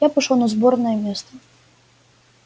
я пошёл на сборное место